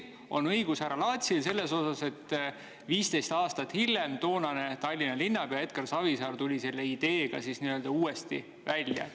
Aga härra Laatsil on tõesti õigus, et 15 aastat hiljem tuli toonane Tallinna linnapea Edgar Savisaar selle ideega uuesti välja.